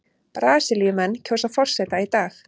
Brasilíumenn kjósa forseta í dag